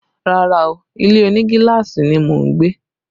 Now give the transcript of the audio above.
Rárá o, ilé òní gíláàsì ni mo ń gbé